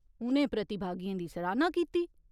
उ'नें प्रतिभागियें दी सराह्‌ना कीती।